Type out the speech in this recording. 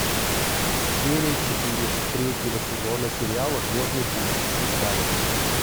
серия четыре третьего сезона сериала звездный путь дискавери